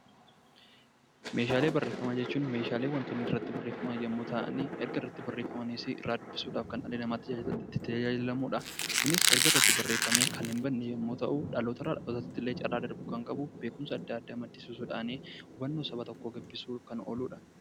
Meeshaalee barreeffamaa jechuun meeshaalee wantoonni irratti barreeffaman yommuu ta'ani, erga irratti barreeffamaniisi irra dubbisuudhaaf kan dhalli namaa itti tajaajilamu dha. Kunis erga irratti barreeffamee kan hin badne yommuu ta'u, dhaloota irraa dhalootatti illee carra darbuu kan qabu beekumsa adda addaa maddisiisuu dhaan hubannoo saba tokkoo gabbisuuf kan oolu dha.